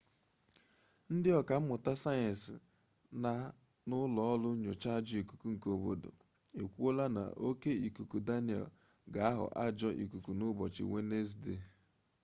ndị ọka mmụta sayensị na n'ụlọ nyocha ajọ ikuku nke obodo ekwuola na oke ikuku daniel ga aghọ ajọ ikuku na ụbọchị wenezde